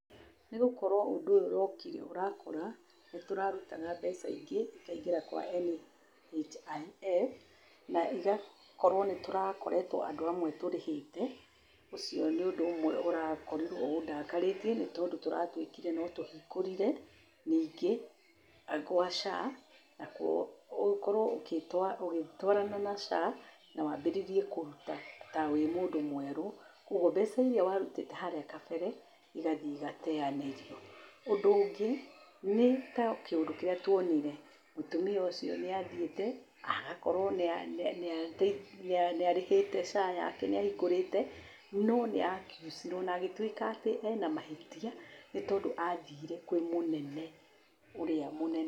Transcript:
Nĩ gũkorwo ũndũ ũyũ ũrokire ũrakora nĩ tũrarutaga mbeca ingĩ, ikaingĩra kwa NHIF, na igakorwo nĩ tũrakoretwo andũ amwe tũrĩhĩte, ũcio nĩ ũndũ ũmwe ũrakorirwo ũndakarĩtie nĩ tondũ tũratuĩkire no tũhingũrire, ningĩ nakuo gwa SHA, nakuo ũkorwo ũgĩtwarana na SHA, na wambĩrĩrie kũruta ta wĩ mũndũ mwerũ, koguo mbeca iria warutĩte harĩa kabere, igathiĩ igateyanĩrio. Ũndũ ũngĩ nĩ ta kĩũndũ kĩrĩa tuonĩre, mũtimia ũcio nĩathiĩte, agakorwo nĩ arĩhĩte SHA yake nĩ ahingũrĩte no nĩ a a accuse irwo na agĩtuĩka ena mahĩtia nĩ tondũ athire kwĩ mũnene ũrĩa mũ